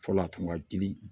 Fɔlɔ a tun ka di